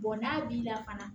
n'a b'i la fana